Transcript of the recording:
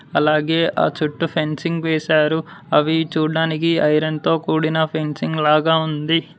అలాగే ఆ చుట్టూ ఫెన్సింగ్ వేశారు అవి చూడ్డానికి ఐరన్ తో కూడిన ఫెన్సింగ్ లాగా ఉంది.